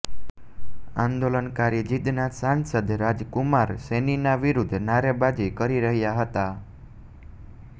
આંદોલનકારી જીંદના સાંસદ રાજ કુમાર સૈનીના વિરુદ્ધ નારેબાજી કરી રહ્યા હતા